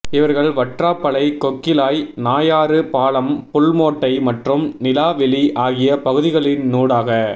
இவர்கள் வற்றாப்பளை கொக்கிளாய் நாயாறு பாலம் புல்மோட்டை மற்றும் நிலாவெளி ஆகிய பகுதிகளினூடாக